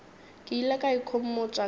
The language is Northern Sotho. ke ile ka ikhomotša ka